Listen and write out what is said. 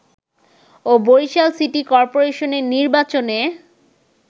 ও Barishal city কর্পোরেশনের নির্বাচনে